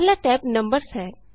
ਪਹਿਲਾ tab numbers ਹੈ